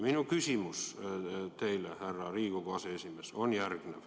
Minu küsimus teile, härra Riigikogu aseesimees, on järgmine.